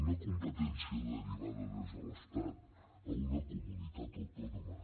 una competència derivada des de l’estat a una comunitat autònoma